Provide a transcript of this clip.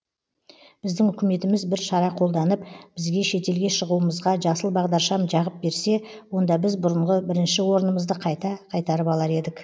біздің үкіметіміз бір шара қолданып бізге шетелге шығуымызға жасыл бағдаршам жағып берсе онда біз бұрынғы бірінші орнымызды қайта қайтарып алар едік